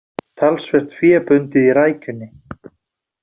Talsvert fé bundið í rækjunni